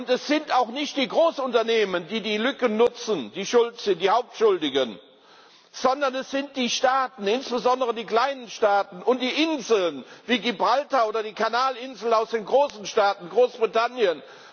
Es sind auch nicht die Großunternehmen, die die Lücken nutzen, die Hauptschuldigen, sondern das sind die Staaten, insbesondere die kleinen Staaten und die Inseln wie Gibraltar oder die Kanalinseln aus den großen Staaten Großbritannien.